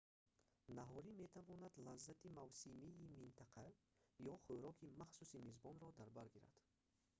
наҳорӣ метавонад лаззати мавсимии минтақа ё хӯроки махсуси мизбонро дар бар гирад